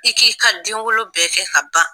I k'i ka den wolo bɛɛ kɛ ka ban